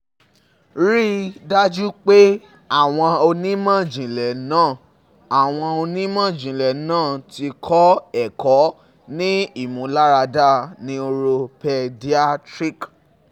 Rii daju pe awọn onimọ-jinlẹ naa awọn onimọ-jinlẹ naa ti kọ ẹkọ ni imularada Neuro-Pediatric